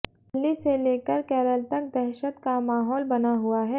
दिल्ली से लेकर केरल तक दहशत का माहौल बना हुआ है